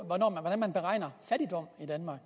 fattigdom i danmark